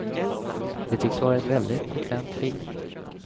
Det tycks vara ett väldigt bekvämt liv.